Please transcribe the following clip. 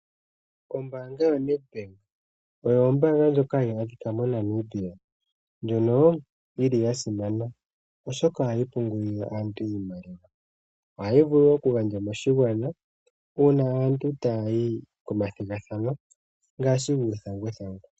Ombanga yoNedbank oyo ombaanga ndjoka hayi adhika moNamibia ndjono yili yasimana oshoka ohayi pungulile aantu iimaliwa, ohayi vulu woo okugandja moshigwana uuna aantu taya yi komathigathano ngaashi guuthanguthangu.